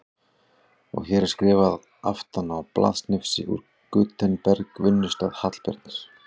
Og hér er skrifað aftan á blaðsnifsi úr Gutenberg, vinnustað Hallbjarnar